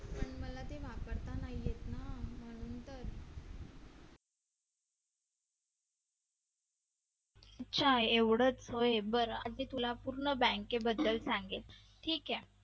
अच्छा एवढेच होय बरं आता मी तुला पूर्ण bank बद्दल सांगेल ठीक आहे